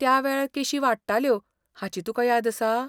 त्या वेळार केशी वाडटाल्यो हाची तुका याद आसा?